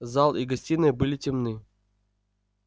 зал и гостиная были темны